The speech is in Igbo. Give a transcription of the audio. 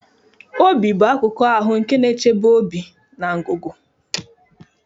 Obi bụ akụkụ ahụ nke na-echebe obi na ngụgụ.